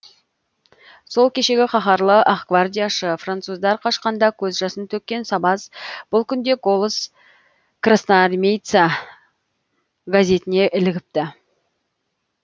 сол кешегі қаһарлы ақгвардияшы француздар қашқанда көз жасын төккен сабаз бұл күнде голос красноармейца газетіне ілігіпті